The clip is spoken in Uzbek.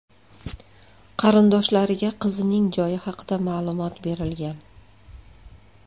Qarindoshlariga qizning joyi haqida ma’lumot berilgan.